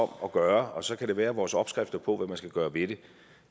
gør og så kan det være at vores opskrifter på hvad man skal gøre ved det